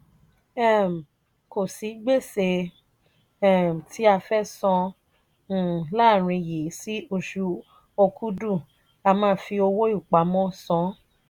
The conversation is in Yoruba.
um kò sí gbèsè um tí a fẹ sàn um láàrin yìí sí oṣù ọkúdu;a má fi owó ipamọ́ san.